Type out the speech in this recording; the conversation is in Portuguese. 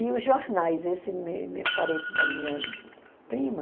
E os jornais, esse parente da minha prima,